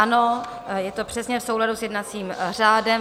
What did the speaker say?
Ano, je to přesně v souladu s jednacím řádem.